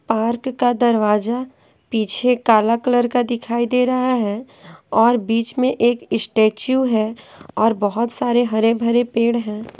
Park का दरवाज़ा पीछे काला कलर का दिखाई दे रहा है और बीच में एक स्टैचू है और बहुत सारे हरे भरे पेड़ हैं।